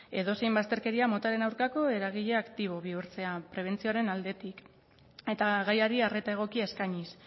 edozein bazterkeria motaren aurkako eragile aktibo bihurtzea prebentzioaren aldetik eta gaiari arreta egokia eskainiz